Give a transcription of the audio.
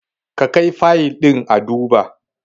Ka kai Fayil ɗin a duba!